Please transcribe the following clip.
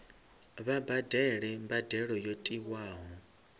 vha badele mbadelo yo tiwaho